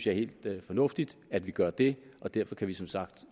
er helt fornuftigt at vi gør det og derfor kan vi som sagt